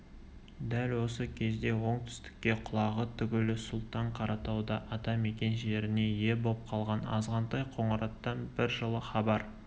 дәл осы кезде оңтүстікке құлағы тігулі сұлтан қаратауда ата-мекен жеріне ие боп қалған азғантай қоңыраттан бір жылы хабар